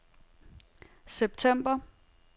september